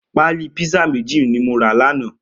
Pàlí pizza méjí ni mó rà làná